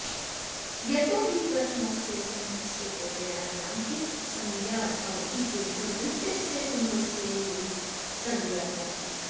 यतो हि प्रथमस्य समूहस्य प्रत्ययानां पित् संज्ञा भवति किन्तु द्वितीयस्य समूहस्य ङित् संज्ञा भवति